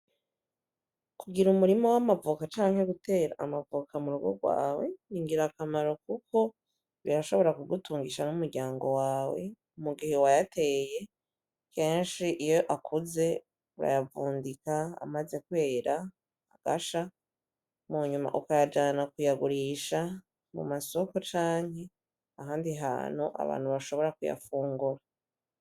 Kugira umurima w'amavoka canke gutera amavoka mu rugu rwawe ni ingira akamaro, kuko birashobora kugutungisha n'umuryango wawe mugihe wayateye kenshi iyo akuze urayavundika amaze kwera agasha mu nyuma ukayajana kuyagurisha mu masoko canke ahandi hantu abantu bashobora kuyafungura.